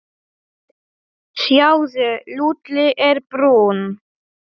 Sjáðu, Lúlli er brúnn.